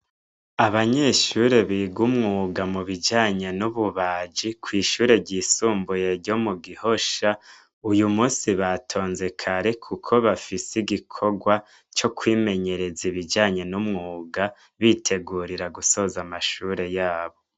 Abanyeshure biga umwuga mu bijanye n'ububaji kw'ishure ryisumbuye ryo mu gihosha uyu musi batonze kare, kuko bafise igikorwa co kwimenyereza ibijanye n'umwuga bitegurira gusoza amashure yabo.